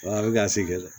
Wala a bɛ ka segin dɛ